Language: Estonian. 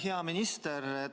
Hea minister!